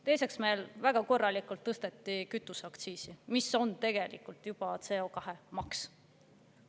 Teiseks, meil väga korralikult tõsteti kütuseaktsiisi, mis on tegelikult nagu CO2-maks.